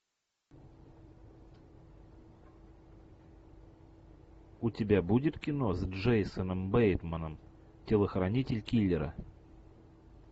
у тебя будет кино с джейсоном бейтманом телохранитель киллера